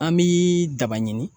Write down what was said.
An bi daba ɲini